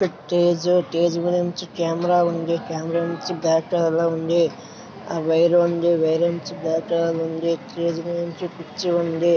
Stage stage మీదా ఉంచి camera ఉంది కెమెరా నుంచి బ్యాగ్ ప్యానల్ లా ఉంది వైర్ ఉంది ఆ వైరు ఉంది బ్యాగ్ ప్యానల్ ఉంది స్టేజూ మీద నుంచి కుర్చీ ఉంది.